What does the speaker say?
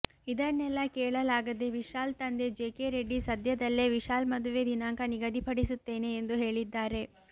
ಇದನ್ನೆಲ್ಲ ಕೇಳಲಾಗದೆ ವಿಶಾಲ್ ತಂದೆ ಜೆಕೆ ರೆಡ್ಡಿ ಸದ್ಯದಲ್ಲೇ ವಿಶಾಲ್ ಮದುವೆ ದಿನಾಂಕ ನಿಗದಿಪಡಿಸುತ್ತೇನೆ ಎಂದು ಹೇಳಿದ್ದಾರೆ